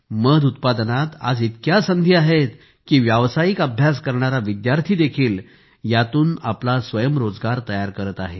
मध उत्पादनात आज इतक्या संधी आहेत की व्यावसायिक अभ्यास करणारा विद्यार्थी देखील यातून आपला स्वयंरोजगार तयार करत आहे